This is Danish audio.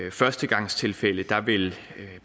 i førstegangstilfælde vil